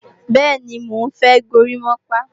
Bẹ́ẹ̀ni, mò ń fẹ́ górimápá